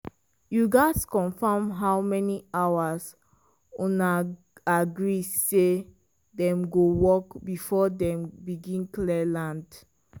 you gats confirm how many hours una agree say dem go work before dem begin clear land.